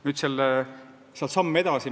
Nüüd sealt samm edasi.